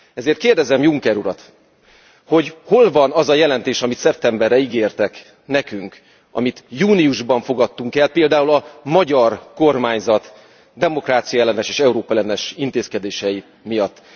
Ezért kérdezem Juncker urat, hogy hol van az a jelentés, amit szeptemberre ígértek nekünk, amit júniusban fogadtunk el, például a magyar kormányzat demokráciaellenes és Európa ellenes intézkedései miatt.